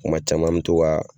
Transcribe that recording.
Kuma caman an mi to ka